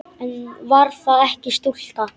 Eða var það ekki stúlka?